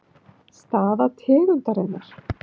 Staða tegundarinnar